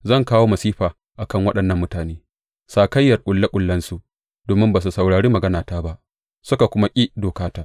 Zan kawo masifa a kan waɗannan mutane, sakayyar ƙulle ƙullensu, domin ba su saurari maganata ba suka kuma ƙi dokata.